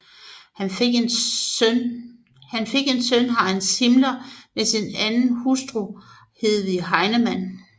Han fik en søn Heinz Hitler med sin anden hustru Hedwig Heinemann